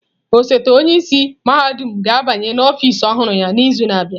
Osote onye isi mahadum ga-abanye n'ọfịs ọhụrụ ya n'izu na-abịa.